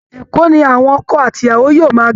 Èkó ni àwọn ọkọ àti ìyàwó yóò máa gbé